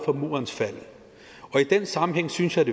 for murens fald og i den sammenhæng synes jeg